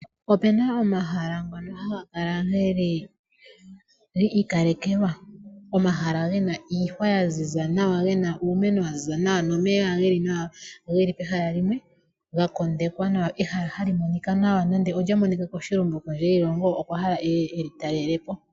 Opuna omahala ngono haga kala geli gi ikalekelwa. Omahala gena iihwa ya ziza nawa, gena uumeno wa ziza nawa nomeya geli nawa, geli pehala limwe, ga kondekwa nawa. Ehala hali monika nawa nande olya monika koshilongo, kondje yiilongo okwa hala eye eli talele po.